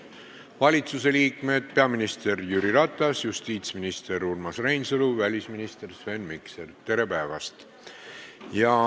Valitsuse liikmed peaminister Jüri Ratas, justiitsminister Urmas Reinsalu ja välisminister Sven Mikser, tere päevast!